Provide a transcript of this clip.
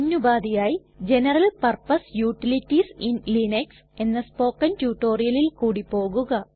മുന്നുപാധിയായി general purpose utilities in Linux എന്ന spoken റ്റുറ്റൊരിയലിൽ കൂടി പോകുക